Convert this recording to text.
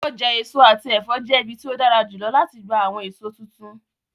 Ọja eso ati ẹfọ jẹ ibi ti o dara julọ lati gba awọn eso tuntun.